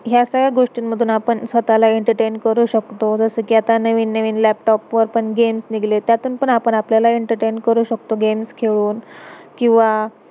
ह्या सगळ्या गोष्टीन मधून आपण, स्वतहाला एंटरटेन entertain करू शकतो. जसं कि अता नवीन नवीन, लैपटॉप laptop वर पण गेम्स games निघलेत, त्यातून पण आपण आपल्याला एंटरटेन entertain करू शकतो, गेम्स games खेलुण. किव्हा